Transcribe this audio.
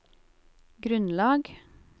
grunnlag